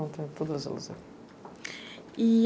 Então, tem todas elas aí.